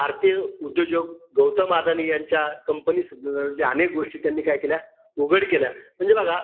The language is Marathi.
भारतीय उद्योजक गौतम अदाणी यांच्या company स अनेक गोष्टी त्यांनी काय केल्या? उघड केल्या. म्हणजे बघा,